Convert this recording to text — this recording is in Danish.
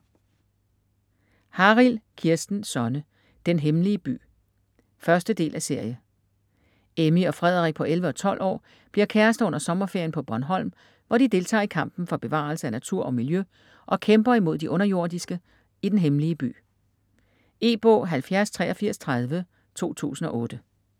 Harild, Kirsten Sonne: Den Hemmelige By 1.del af serie. Emmy og Frederik på 11 og 12 år bliver kærester under sommerferien på Bornholm, hvor de deltager i kampen for bevarelse af natur og miljø og kæmper imod de underjordiske i Den Hemmelige By. E-bog 708330 2008.